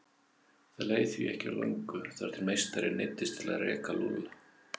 Það leið því ekki á löngu þar til meistarinn neyddist til að reka Lúlla.